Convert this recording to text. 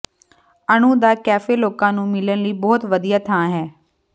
ਅਨੂ ਦਾ ਕੈਫੇ ਲੋਕਾਂ ਨੂੰ ਮਿਲਣ ਲਈ ਬਹੁਤ ਵਧੀਆ ਥਾਂ ਹੈ